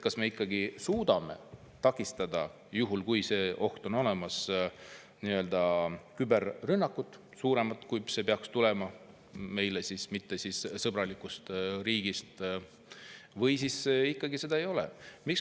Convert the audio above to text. Kas me ikkagi suudame takistada, juhul kui see oht on olemas, suuremat küberrünnakut, kui see peaks tulema meile mittesõbralikust riigist, või siis ikkagi seda ei ole?